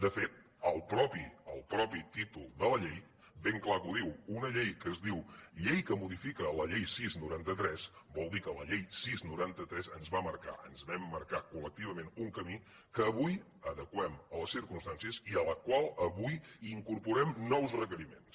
de fet el mateix el mateix títol de la llei ben clar que ho diu una llei que es diu llei que modifica la llei sis noranta tres vol dir que la llei sis noranta tres ens va marcar ens vam marcar col·lectivament un camí que avui adeqüem a les circumstàncies i a la qual avui in·corporem nous requeriments